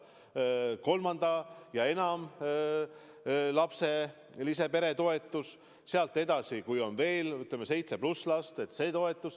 On ju kolme- ja enama lapsega pere toetus ja sealt edasi, kui on veel, ütleme, seitse pluss last.